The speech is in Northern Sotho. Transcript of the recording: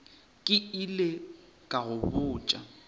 ke ile ka go botša